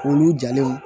Olu jalen